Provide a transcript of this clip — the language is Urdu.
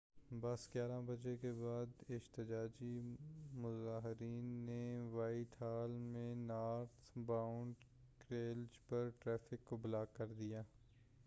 بس 11:00 بجے کے بعد احتجاجی مظاہرین نے وائٹ ہال میں نارتھ باؤنڈ کیریئج پر ٹریفک کو بلاک کردیا